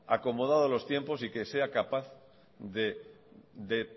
acomodado a los tiempos y que sea capaz de